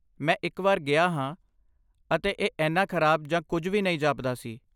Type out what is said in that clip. ਮੈਂ ਇੱਕ ਵਾਰ ਗਿਆ ਹਾਂ, ਅਤੇ ਇਹ ਇੰਨਾ ਖਰਾਬ ਜਾਂ ਕੁਝ ਵੀ ਨਹੀਂ ਜਾਪਦਾ ਸੀ।